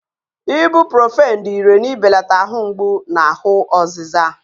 Ibuprọfen dị ìrè n'ibelata ahụ mgbu na ahụ ọzịza.